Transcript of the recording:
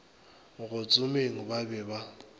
go tsomeng ba be ba